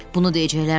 Bunu deyəcəklər.